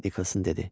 Nikolson dedi.